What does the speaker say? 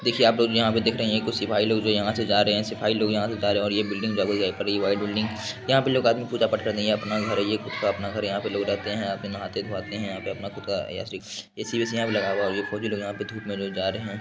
देखिये आप लोग जो देख रहे हैं ये कुछ सिपाही लोग यहाँ से जा रहे हैं। सिपाही लोग यहाँ से जा रहें हैं और ये बिल्डिंग व्हाइट बिल्डिंग । यहाँ पे लोग पूजा पाठ करते है ये अपना घर है ये खुद का अपना घर है यहाँ पर लोग रहते है यहाँ पे नहाते धोवाते हैं यहाँ पर अपना खुद का याश्री ए_सी वेसी यहां पे लगा हुआ है और यहाँ पर फौजी लोग जो धूप में जा रहे हैं।